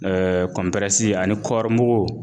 ani kɔribugu